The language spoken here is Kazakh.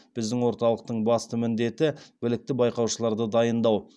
біздің орталықтың басты міндеті білікті байқаушыларды дайындау